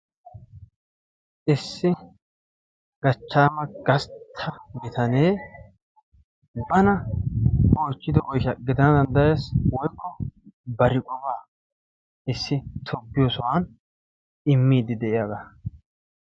issi gachchama gasttaa bitanee bana oychchido oyshsha gidana danddayyees woykko bar qopa issi tobbiyo sohuwan immide de'iyaaga